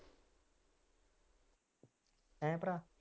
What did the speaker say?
ਹੈਂ ਭਰਾ